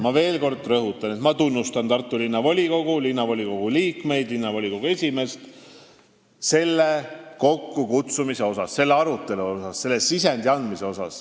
Ma veel kord rõhutan, et ma tunnustan Tartu Linnavolikogu, selle liikmeid ja esimeest selle istungi kokkukutsumise eest, selle arutelu eest, selle sisendi andmise eest.